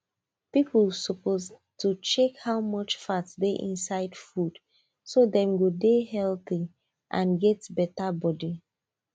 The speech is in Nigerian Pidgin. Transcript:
people suppose to check how much fat dey inside food so dem go dey healthy and get better body